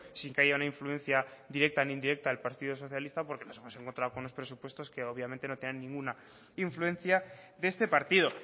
sin que haya una influencia directa ni indirecta del partido socialista porque nos hemos encontrado con unos presupuestos que obviamente no tenían ninguna influencia de este partido